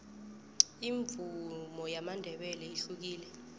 imvumo yamandebele ihlukile